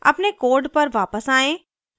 अपने code पर वापस आयें